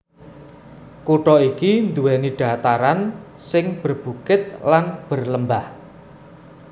Kutha iki nduwèni dhataran sing berbukit lan berlembah